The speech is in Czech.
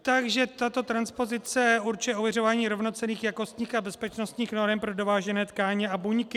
Takže tato transpozice určuje ověřování rovnocenných jakostních a bezpečnostních norem pro dovážené tkáně a buňky.